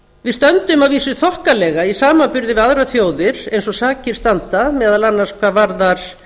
við stöndum að vísu þokkalega í samanburði við aðrar þjóðir eins og sakir standa meðal annars hvað varðar